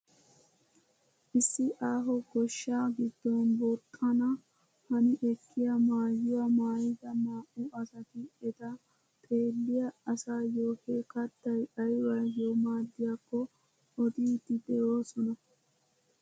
Issi aaho goshshaa giddon booxxana hani ekkiyaa maayuwaa maayida naa"u asati eta xeelliyaa asayoo he kattay aybayoo maaddiyaako odiidi de'oosona.